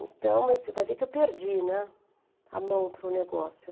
Então, você vai ver que eu perdi, né, a mão para o negócio.